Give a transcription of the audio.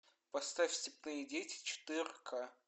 поставь степные дети четыре ка